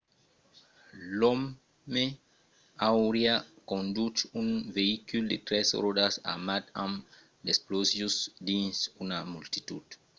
l'òme auriá conduch un veïcul de tres ròdas armat amb d'explosius dins una multitud